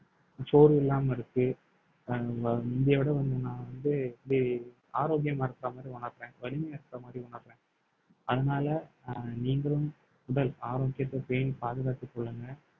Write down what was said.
சோர்வு இல்லாம இருக்கு அஹ் வ~ முந்தைய விட வந்து நான் வந்து இப்படி ஆரோக்கியமா இருக்கிற மாதிரி உணரேன் அதனால அஹ் நீங்களும் உடல் ஆரோக்கியத்தை பேணி பாதுகாத்துக் கொள்ளுங்க